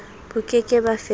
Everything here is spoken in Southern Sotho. bo ke ke ba fetolwa